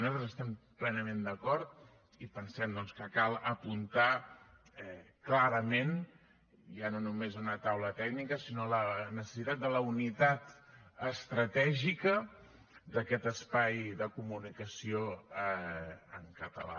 nosaltres hi estem plenament d’acord i pensem doncs que cal apuntar clarament ja no només una taula tècnica sinó la necessitat de la unitat estratègica d’aquest espai de comunicació en català